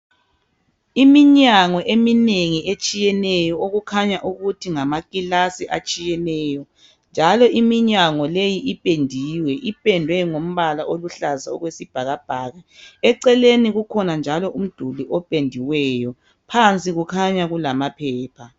Iminyango eminengi etshiyeneyo okukhanya ukuthi ngamakilasi atshiyeneyo njalo iminyango leyi ipendiwe. Ipendwe ngombala oluhlaza okwesibhakabhaka. Eceleni kukhona njalo umduli opendiweyo. Phansi kukhanya kulamaphepha.